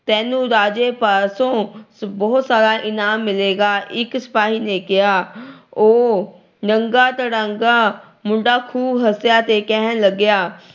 ਤੈਨੂੰ ਰਾਜੇ ਪਾਸੋਂ ਬਹੁਤ ਸਾਰਾ ਇਨਾਮ ਮਿਲੇਗਾ। ਇੱਕ ਸਿਪਾਹੀ ਨੇ ਕਿਹਾ। ਉਹ ਨੰਗਾ ਧੜੰਗਾ ਮੁੰਡਾ ਖੂਬ ਹੱਸਿਆ ਤੇ ਕਹਿਣ ਲੱਗਿਆ